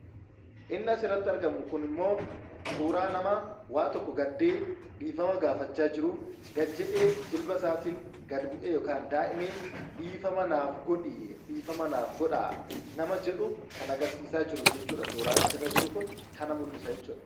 Inni asirratti argamu kunimmoo suuraa namaa waa tokko gaddee dhiifama gaafachaa jiru gad jedhee jilba isaatiin gad bu'ee yookaan daa'imee dhiifama naaf godhi, dhiifama naaf godhaa nama jedhu kan agarsiisaa jiru jechuudha suuraan asirra jiru kun kana mul'isa jechuudha.